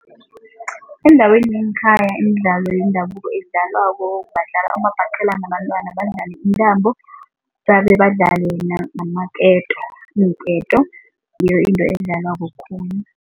Endaweni yangekhaya imidlalo yendabuko edlalwako badlala umabhaqelana abantwana, badlale intambo, babebadlale namaketo iinketo ngiyo into edlalwako khulu.